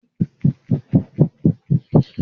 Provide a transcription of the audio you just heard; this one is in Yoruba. Ṣé wàá ṣe ìtọ́jú ìkókó náà?